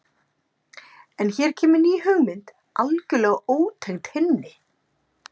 En hér kemur ný hugmynd, algjörlega ótengd hinni.